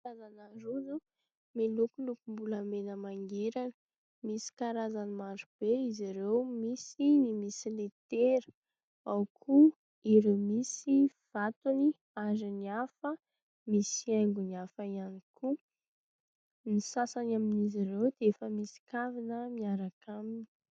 Karazana rojo milokolokom-bolamena mangirana, misy karazany marobe izy ireo, misy ny misy letera, ao koa ireo misy vatony, ary ny hafa misy hiaingony hafa ihany koa, ny sasany amin'izy ireo dia efa misy kavina miaraka aminy.